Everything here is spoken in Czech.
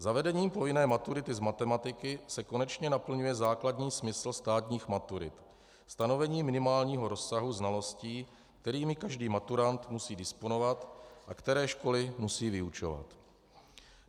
Zavedením povinné maturity z matematiky se konečně naplňuje základní smysl státních maturit, stanovení minimálního rozsahu znalostí, kterými každý maturant musí disponovat a které školy musí vyučovat.